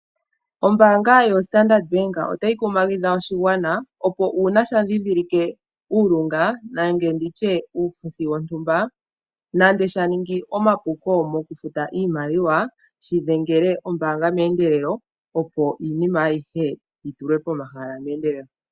Ombaanga yoStandard bank oyi li tayi kumagidha oshigwana opo uuna sha ndhindhilike uulunga nenge nditye uufuthi wontumba nando sha ningi omapuko mokutuma iimaliwa shi dhengele ombaanga meendelelo opo iinima ayihe yi tulwe pomahala meendelelo.